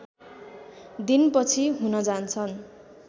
दिन पछि हुन जान्छन्